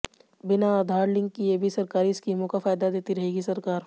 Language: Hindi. बिना आधार लिंक किए भी सरकारी स्कीमों का फायदा देती रहेगी सरकार